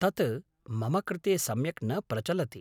तत् मम कृते सम्यक् न प्रचलति।